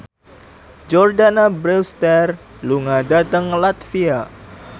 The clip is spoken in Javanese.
Jordana Brewster lunga dhateng latvia